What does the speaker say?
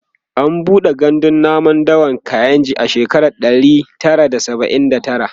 an buɗe gandun namun dawan kainji a shekara alib ɗari Tara da saba'in da tara